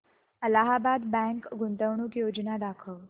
Allahabad bank गुंतवणूक योजना दाखव